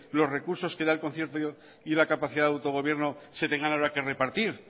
los recursos que da el concierto y la capacidad de autogobierno se tengan ahora que repartir